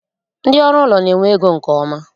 Ndị ọrụ ụlọ na-enwe ego nke ọma